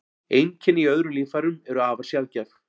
Einkenni í öðrum líffærum eru afar sjaldgæf.